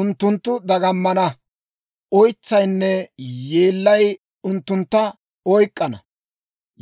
Unttunttu dagammana; oytsaynne yeellay unttuntta oyk'k'ana.